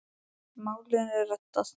Málinu reddað.